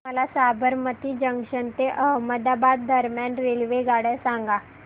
मला साबरमती जंक्शन ते अहमदाबाद दरम्यान रेल्वेगाड्या सांगा